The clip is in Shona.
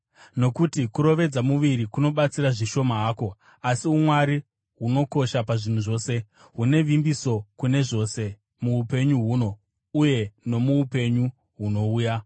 Nokuti kurovedza muviri kunobatsira zvishoma hako asi umwari hunokosha pazvinhu zvose, hune vimbiso kune zvose muupenyu huno uye nomuupenyu hunouya.